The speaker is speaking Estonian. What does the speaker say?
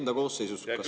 Hea küsija, teie aeg!